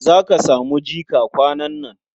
Za ka samu jika kwanan nan.